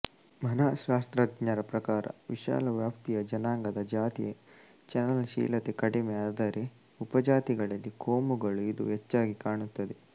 ಮನಃಶಾಸ್ತ್ರಜ್ಞರ ಪ್ರಕಾರ ವಿಶಾಲ ವ್ಯಾಪ್ತಿಯ ಜನಾಂಗದ ಜಾತಿಯ ಚಲನಶೀಲತೆ ಕಡಿಮೆ ಆದರೆ ಉಪಜಾತಿಗಳಲ್ಲಿ ಕೋಮುಗಳುಇದು ಹೆಚ್ಚಾಗಿ ಕಾಣುತ್ತದೆ